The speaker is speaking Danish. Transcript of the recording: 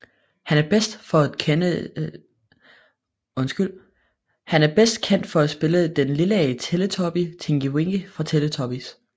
Han er bedst kendt for at spille den Lilla Teletubby Tinky Winky fra Teletubbies